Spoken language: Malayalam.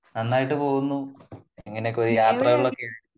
നന്നായിട്ട് പോകുന്നു പിന്നെ യാത്രകളിൽ ഒക്കെ